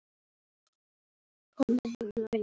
Elsku brósi minn.